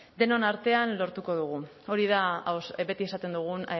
denon artean lortuko dugu hori da beti esaten dugun